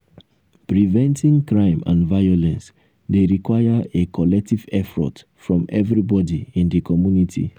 preventing crime and violence dey require a collective effort from everybody in di community.